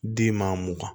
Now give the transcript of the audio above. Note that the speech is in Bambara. Den maa mugan